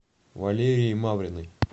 валерией мавриной